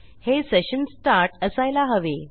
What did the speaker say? हे session start असायला हवे